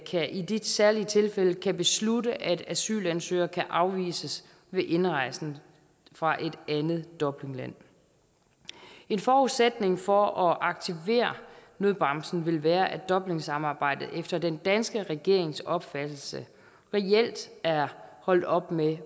i de særlige tilfælde kan beslutte at asylansøgere kan afvises ved indrejsen fra et andet dublinland en forudsætning for at aktivere nødbremsen vil være at dublinsamarbejdet efter den danske regerings opfattelse reelt er holdt op med